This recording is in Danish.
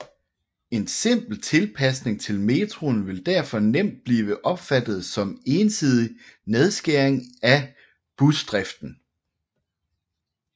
En simpel tilpasning til metroen ville derfor nemt blive opfattet som ensidig nedskæring af busdriften